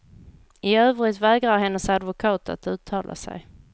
I övrigt vägrar hennes advokat att uttala sig.